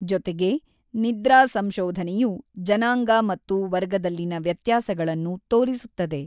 ಜೊತೆಗೆ, ನಿದ್ರಾ ಸಂಶೋಧನೆಯು ಜನಾಂಗ ಮತ್ತು ವರ್ಗದಲ್ಲಿನ ವ್ಯತ್ಯಾಸಗಳನ್ನು ತೋರಿಸುತ್ತದೆ.